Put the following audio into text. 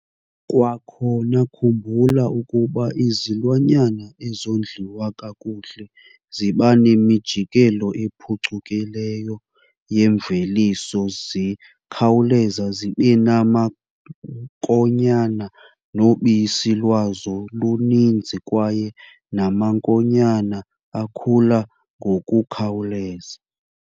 Kwakhona khumbula ukuba izilwanyana ezondliwa kakuhle ziba nemijikelo ephucukileyo yemveliso zikhawuleza zibe namankonyana, nobisi lwazo luninzi kwaye namankonyana akhula ngokukhawuleza.